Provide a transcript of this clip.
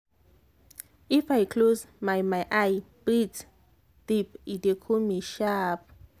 if i close my my eye breathe deep e dey cool me sharp.